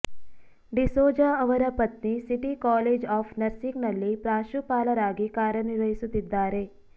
ಡಿಸೋಜಾ ಅವರ ಪತ್ನಿ city college of nursing ನಲ್ಲಿ ಪ್ರಾಶುಂಪಾಲರಾಗಿ ಕಾರ್ಯನಿರ್ವಹಿಸುತ್ತಿದ್ದಾರೆ